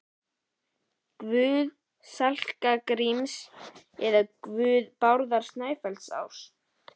Guð Skalla-Gríms, eða guð Bárðar Snæfellsáss?